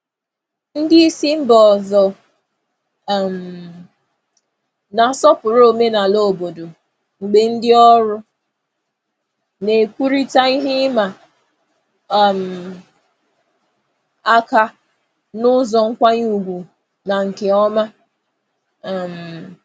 Ndị isi mba ọzọ um na-asọpụrụ omenala obodo mgbe ndị ọrụ na-ekwurịta ihe ịma um aka n'ụzọ nkwanye ùgwù na nke ọma. um